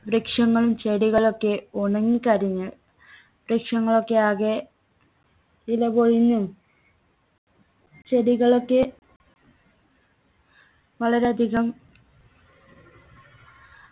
വൃക്ഷങ്ങളും ചെടികളൊക്കെ ഉണങ്ങി കരിഞ്ഞ് വൃക്ഷങ്ങളൊക്കെ ആകെ ഇലപൊഴിഞ്ഞും ചെടികളൊക്കെ വളരെ അധികം